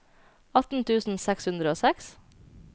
atten tusen seks hundre og seks